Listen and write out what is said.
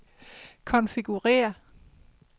konfigurér